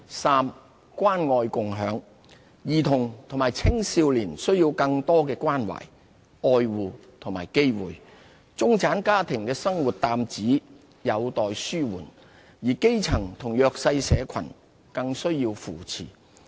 三關愛共享。兒童和青少年需要更多的關懷、愛護和機會；中產家庭的生活擔子有待紓緩，而基層和弱勢社群更需要扶持。